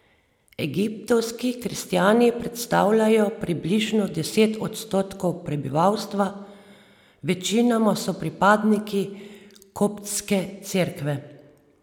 Egiptovski kristjani predstavljajo približno deset odstotkov prebivalstva, večinoma so pripadniki koptske cerkve.